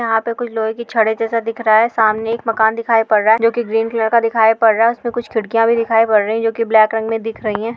यहाँ पे कुछ लोहे की छड़े जैसा दिख रहा है सामने एक मकान दिखाई पड़ रहा है जो कि ग्रीन कलर का दिखाई पड़ रहा है उसमें कुछ खिड़कियाँ भी दिखाई पड़ रही हैं जो की ब्लैक रंग में दिख रही हैं।